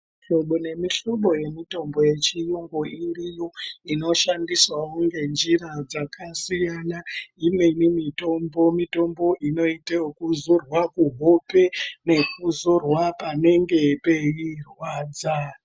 Mihlobo nemihlobo yemitombo yechiyungu iriyo inokona kunge ichishandiswawo njira dzakasiyana siyana . Imweni mitombo mitombo inoite kuzorwe kuhope nekuzorwa panenge peirwadza